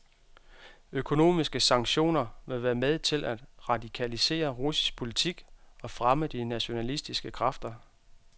Økonomiske sanktioner vil være med til at radikalisere russisk politik og fremme de nationalistiske kræfter.